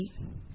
நன்றி